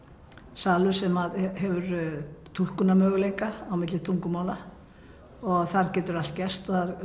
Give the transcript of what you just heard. salur sem hefur túlkunarmöguleika á milli tungumála og þar getur allt gerst það